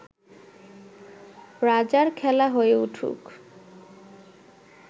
রাজার খেলা হয়ে উঠুক